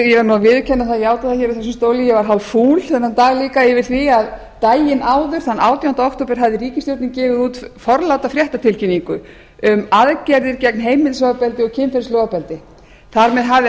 ég verð að játa það úr þessum stóli að ég varð hálffúl þennan dag líka yfir því að daginn áður þann átjánda október hafði ríkisstjórnin gefið út forláta fréttatilkynningu um aðgerðir gegn heimilisofbeldi og kynferðislegu ofbeldi þar með hafði